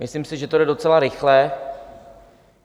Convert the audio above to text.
Myslím si, že to jde docela rychle.